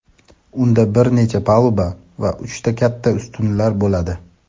unda bir necha paluba va uchta katta ustunlar bo‘ladi.